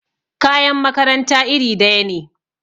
kayan makaranta iri daya ne